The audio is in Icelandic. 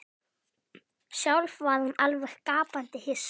Sjálf var hún alveg gapandi hissa.